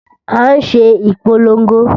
À ń ṣe ìpolongo